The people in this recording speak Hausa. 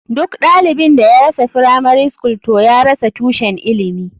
Duk ɗalibin da ya rasa firamari skul toh ya rasa tushen ilimi.